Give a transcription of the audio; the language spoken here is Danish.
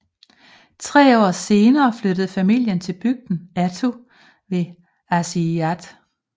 Tre år senere flyttede familien til bygden Attu ved Aasiaat